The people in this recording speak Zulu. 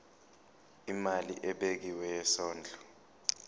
imali ebekiwe yesondlo